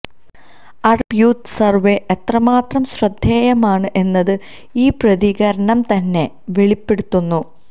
Arab youth survey എത്രമാത്രം ശ്രദ്ധേയമാണ് എന്നത് ഈ പ്രതികരണംതന്നെ വെളിപ്പെടുത്തുന്നു